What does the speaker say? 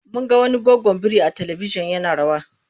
Mun ga wani goggon biri a talibijin yana rawa.